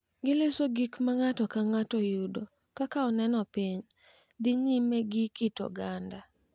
Giloso gik ma ng’ato ka ng’ato yudo, kaka oneno piny, dhi nyime gi kit oganda,